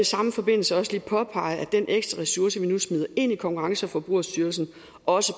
samme forbindelse også lige påpege at den ekstra ressource vi nu smider ind i konkurrence og forbrugerstyrelsen også